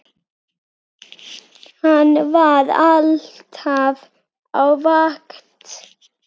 Hann var alltaf á vakt.